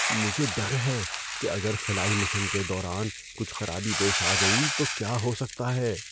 مجھے ڈر ہے کہ اگر خلائی مشن کے دوران کچھ خرابی پیش آ گئی تو کیا ہو سکتا ہے۔